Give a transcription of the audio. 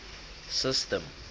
system